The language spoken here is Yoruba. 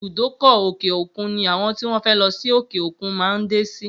Ibùdókọ̀ òkè-òkun ni àwọn tí wọ́n fẹ́ lọ sí òkè-òkun máa ń dé sí